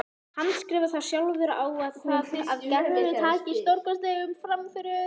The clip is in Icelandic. Handskrifar þá sjálfur á það að Gerður taki stórkostlegum framförum.